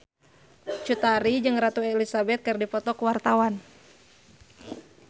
Cut Tari jeung Ratu Elizabeth keur dipoto ku wartawan